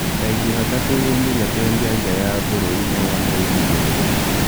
Ta ĩngĩhota kũhĩmbĩria kwendia nja ya bũrũri no wone uumithio mũnene